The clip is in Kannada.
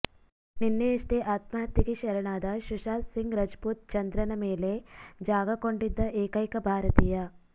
ನಿನ್ನೆಯಷ್ಟೇ ಆತ್ಮಹತ್ಯೆಗೆ ಶರಣಾದ ಸುಶಾಂತ್ ಸಿಂಗ್ ರಜಪೂತ್ ಚಂದ್ರನ ಮೇಲೆ ಜಾಗ ಕೊಂಡಿದ್ದ ಏಕೈಕ ಭಾರತೀಯ